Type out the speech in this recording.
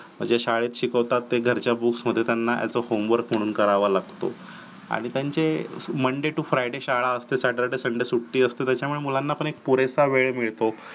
म्हणजे शाळेत शिकवतात ते घरच्या books मध्ये त्यांना त्यांचा homework म्हणून करावा लागतो. आणि त्यांचे monday to friday शाळा असते. saturday sunday सुट्टी असते त्याच्यामुळे मुलांना पण एक पुरेसा वेळ मिळतो